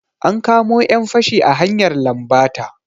An kamo 'yan fashi a hanyar lambata.